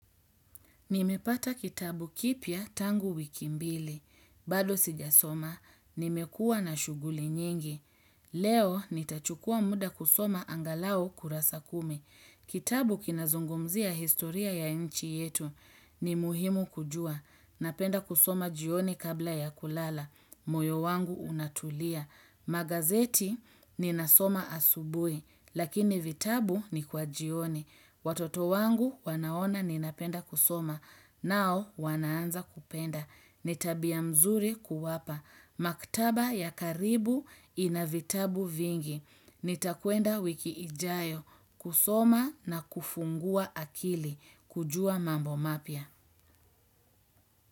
Nimepata kitabu kipya tangu wiki mbili. Bado sijasoma. Nimekua na shughuli nyingi. Leo nitachukua muda kusoma angalau kurasa kumi. Kitabu kinazungumzia historia ya inchi yetu. Ni muhimu kujua. Napenda kusoma jioni kabla ya kulala. Moyo wangu unatulia. Magazeti ninasoma asubui, lakini vitabu ni kwa jioni. Watoto wangu wanaona ninapenda kusoma, nao wanaanza kupenda. Ni tabia mzuri kuwapa. Maktaba ya karibu inavitabu vingi. Nitakwenda wiki ijayo kusoma na kufungua akili kujua mambo mapya.